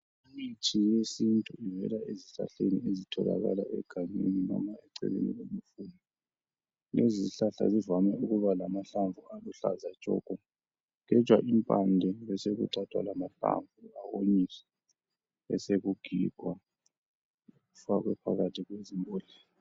Imithi yesintu ivela ezihlahleni ezitholakala egangeni, noma eceleni, kwamasimu. Lezizihlahla zande ukuba lamahlamvu aluhlaza tshoko! Kugetshwa impande. Besekuthathwa lamahlamvu, awonyiswe. Besekugigwa, ifakwe phakathi kwezimbodlela.